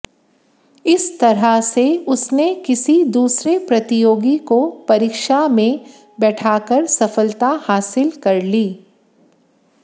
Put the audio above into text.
इस तरह से उसने किसी दूसरे प्रतियोगी को परीक्षा में बैठाकर सफलता हासिल कर ली